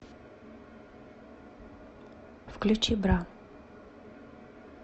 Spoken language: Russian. включи бра